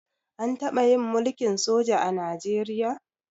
An taɓa yin mulkin soja a Najeriya?